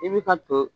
I bɛ ka to